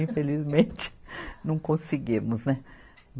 Infelizmente, não conseguimos, né.